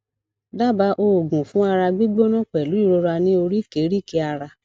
daba oogun fun ara gbigbona pelu irora ni orikerike ara